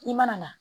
I mana na